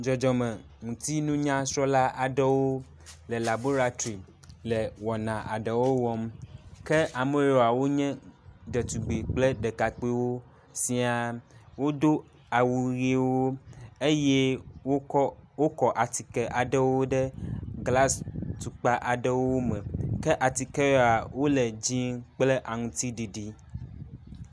Dzɔdzɔme ŋutinunyasrɔ̃la aɖewo le laboratri le wɔna aɖewo wɔm. Ke ameyewoa wonye ɖetugbui kple ɖekakpuiwo siaa. Wodo awu ʋewo eye wokɔ wokɔ atike aɖewo ɖe glas tukpa aɖewo me. Ke atike yewoa, wole dze kple aŋuti ɖiɖi.